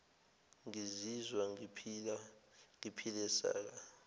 ngizizwa ngiphile saka